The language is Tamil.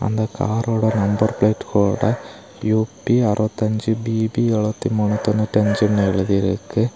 இந்த கார் ஓட நம்பர் பிளேட் போர்டுல யு_பி அறுவத்தி அஞ்சு பி_பி எலுவத்தி மூணு தொன்னூத்தி அஞ்சுனு எழுதிருக்கு.